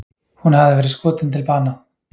Hún hafði verið skotin til bana